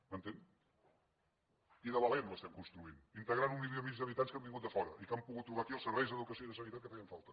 m’entén i de valent l’estem construint integrant un milió i mig d’habitants que han vingut de fora i que han pogut trobar aquí els serveis d’educació i de sanitat que feien falta